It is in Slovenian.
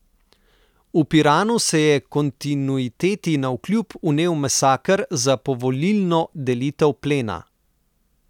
V Piranu se je kontinuiteti navkljub vnel masaker za povolilno delitev plena.